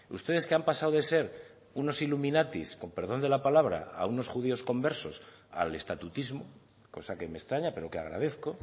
ustedes que han pasado de ser unos iluminatis con perdón de la palabra a unos judíos conversos al estatutismo cosa que me extraña pero que agradezco